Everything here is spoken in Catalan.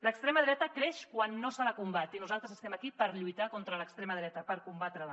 l’extrema dreta creix quan no se la combat i nosaltres estem aquí per lluitar contra l’extrema dreta per combatre la